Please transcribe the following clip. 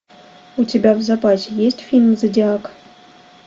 у тебя в запасе есть фильм зодиак